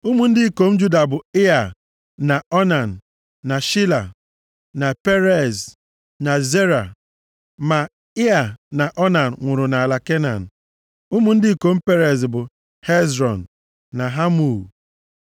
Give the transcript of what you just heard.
Ụmụ ndị ikom Juda bụ, Ịa, na Onan, na Shela, na Perez, na Zera. Ma Ịa na Onan nwụrụ nʼala Kenan. Ụmụ ndị ikom Perez bụ, Hezrọn na Hamul.